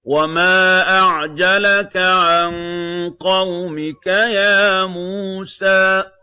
۞ وَمَا أَعْجَلَكَ عَن قَوْمِكَ يَا مُوسَىٰ